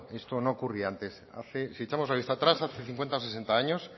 esto no ocurría antes si echamos la vista atrás hace cincuenta o sesenta años